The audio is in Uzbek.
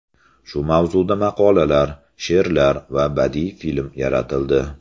Shu mavzuda maqolalar, she’rlar va badiiy film yaratildi.